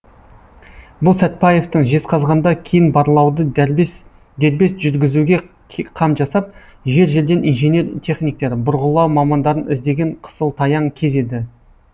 бұл сәтбаевтың жезқазғанда кен барлауды дербес жүргізуге қам жасап жер жерден инженер техниктер бұрғылау мамандарын іздеген қысылтаяң кез еді